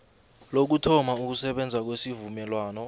lokuthoma ukusebenza kwesivumelwano